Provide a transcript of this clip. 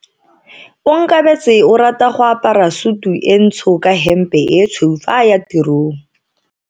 Onkabetse o rata go apara sutu e ntsho ka hempe e tshweu fa a ya tirong.